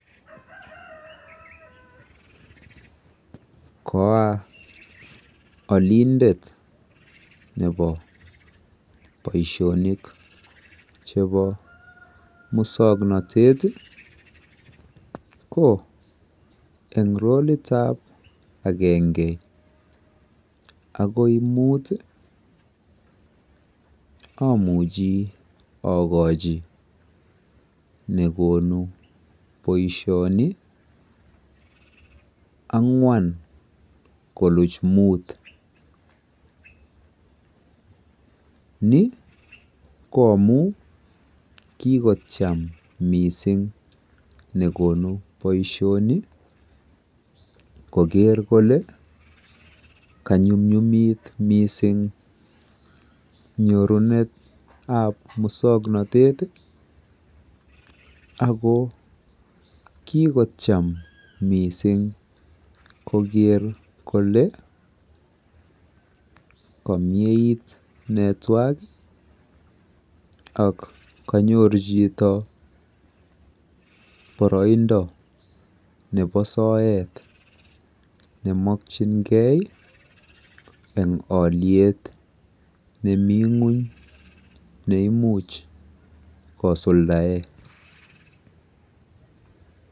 koaa olindet nebo boishonik chebo musoknotet iih ko en roliit ab agenge agoi muut omuchi ogochi negonu boishoni angwaan konuuch muut, ni ko amuu kigocham mising negonu boishoni kogerr kole kanyumnyumit mising nyorunet ab musoknotet ago kigocham mising kogeer kole kogiit ne twaan ak konyoru chito boroindo nebo soet nemokyingee en oliet nemii ngweny neimuch kosuldaen.